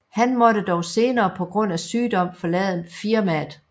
Han måtte dog senere på grund af sygdom forlade firmaet